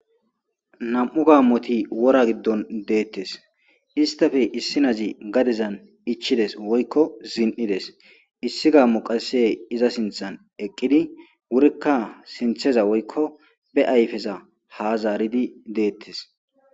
Nam'u gammoti woora giidon dettes issittappe issinazi gaddezan ichides woykko zin'ides issi gammoy qasse iza sinththan eqqidi wurikka sinththeza woykko be ayffeza ha zaaridi dettes.